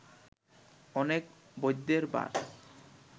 অনেক বৈদ্যের বাস